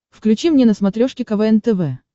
включи мне на смотрешке квн тв